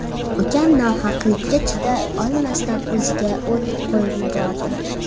Ukam nohaqlikka chiday olmasdan o‘ziga o‘t qo‘yib yubordi.